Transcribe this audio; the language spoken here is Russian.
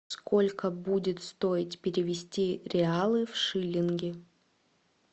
сколько будет стоить перевести реалы в шиллинги